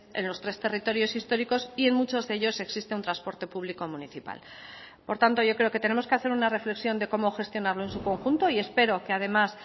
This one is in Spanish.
en los tres territorios históricos y en muchos de ellos existe un transporte público municipal por tanto yo creo que tenemos que hacer una reflexión de cómo gestionarlo en su conjunto y espero que además